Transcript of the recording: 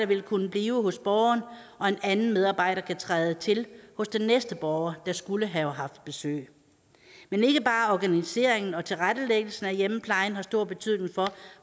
vil kunne blive hos borgeren og en anden medarbejder vil kunne træde til hos den næste borger der skulle have haft besøg men ikke bare organiseringen og tilrettelæggelsen af hjemmeplejen har stor betydning for